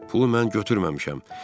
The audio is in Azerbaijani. Pulu mən götürməmişəm.